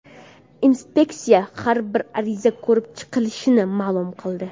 Inspeksiya har bir ariza ko‘rib chiqilishini ma’lum qildi.